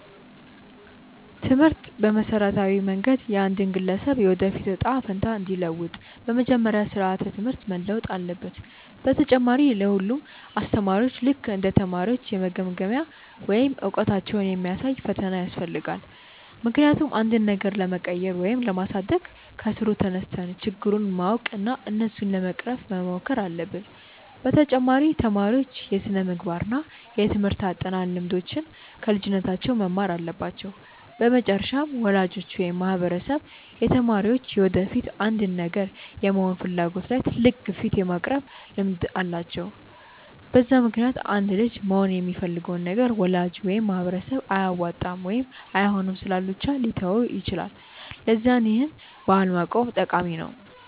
ትምህርት በመሠረታዊ መንገድ የአንድን ግለሰብ የወደፊት እጣ ፈንታ እንዲለውጥ፤ በመጀመሪያ ስራዓተ ትምህርት መለወጥ አለበት፣ በተጨማሪ ለ ሁሉም አስተማሪዎች ልክ እንደ ተማሪዎች የመገምገሚያ ወይም እውቀታቸውን የሚያሳይ ፈተና ያስፈልጋል፤ ምክንያቱም አንድን ነገር ለመቀየር ወይም ለማሳደግ ከስሩ ተነስተን ችግሩን ማወቅ እና እሱን ለመቅረፍ መሞከር አለብን፤ በተጨማሪ ተማሪዎች የስነምግባር እና የትምርህት አጠናን ልምዶችን ከልጅነታቸው መማር አለባቸው፤ በመጨረሻም ወላጆች ወይም ማህበረሰብ የተማሪዎች የወደፊት አንድን ነገር የመሆን ፍላጎት ላይ ትልቅ ግፊት የማቅረብ ልምድ አላቸው፤ በዛ ምክንያትም አንድ ልጅ መሆን የሚፈልገውን ነገር ወላጅ ወይም ማህበረሰብ አያዋጣም ወይም አይሆንም ስላሉ ብቻ ሊተወው ይችላል፤ ለዛ ይህን ባህል ማቆም ጠቃሚ ነው።